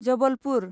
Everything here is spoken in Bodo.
जबलपुर